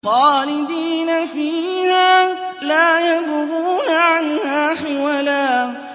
خَالِدِينَ فِيهَا لَا يَبْغُونَ عَنْهَا حِوَلًا